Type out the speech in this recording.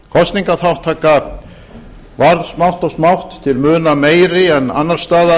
kosningaþátttaka varð smátt og smátt til muna meiri en annars staðar